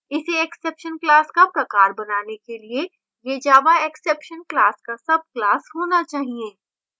इसे exception class का प्रकार बनाने के लिए यह java exception class का subclass होना चाहिए